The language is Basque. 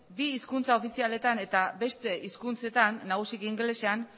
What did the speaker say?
bi hizkuntza ofizialetan eta beste hizkuntzetan nagusiki ingelesean